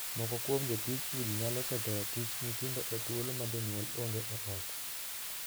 Moko kuom jotij udi nyalo ketho ratich nyithindo e thuolo ma jonyuol onge ot.